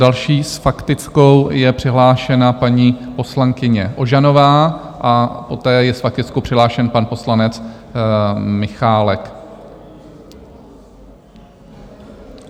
Další s faktickou je přihlášena paní poslankyně Ožanová a poté je s faktickou přihlášen pan poslanec Michálek.